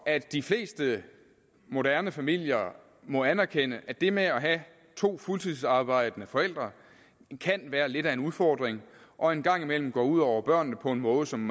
at de fleste moderne familier må anerkende at det med at have to fuldtidsarbejdende forældre kan være lidt af en udfordring og en gang imellem går ud over børnene på en måde som